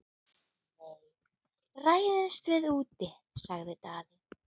Nei, ræðumst við úti, sagði Daði.